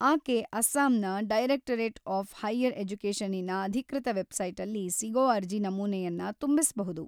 ಆಕೆ ಅಸ್ಸಾಂನ directorate of higher ಎಜುಕೇಷನ್ನಿನ ಅಧಿಕೃತ ವೆಬ್‌ಸೈಟಲ್ಲಿ ಸಿಗೋ ಅರ್ಜಿ ನಮೂನೆಯನ್ನ ತುಂಬಿಸ್ಬಹುದು.